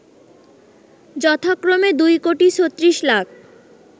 যথাক্রমে ২ কোটি ৩৬ লাখ